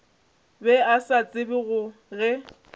be a sa tsebe ge